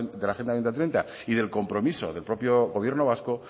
agenda dos mil treinta y del compromiso del propio gobierno vasco